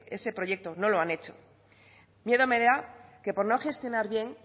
ese proyecto no lo han hecho miedo me da que por no gestionar bien